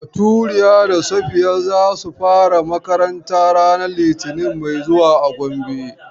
Baturiya da Safiya za su fara makaranta ranar litinin mai zuwa a Gombe.